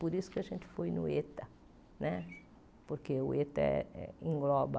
Por isso que a gente foi no Eta né, porque o Eta engloba